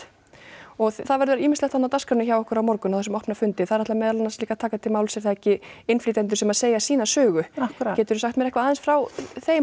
og það verður ýmislegt þarna á dagskránni hjá ykkur á morgun á þessum opna fundi þar ætla meðal annars líka að taka til máls er það ekki innflytjendur sem að segja sína sögu geturðu sagt mér eitthvað aðeins frá þeim og